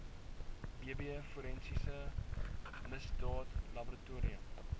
bb forensiese misdaadlaboratorium